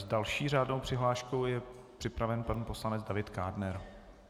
S další řádnou přihláškou je připraven pan poslanec David Kádner.